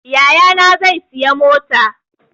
Yayana zai sayi mota